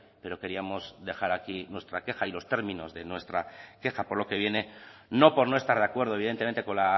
pero queríamos dejar aquí nuestra queja y los términos de nuestra queja por lo que viene no por no estar de acuerdo evidentemente con